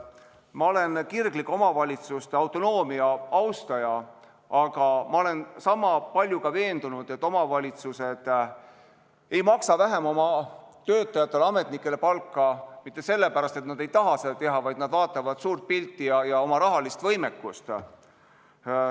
Ma olen kirglik omavalitsuste autonoomia austaja, aga ma olen sama palju ka veendunud, et omavalitsused ei maksa oma töötajatele-ametnikele vähem palka mitte sellepärast, et nad ei taha rohkem maksta, vaid nad vaatavad suurt pilti ja oma rahalist võimekust.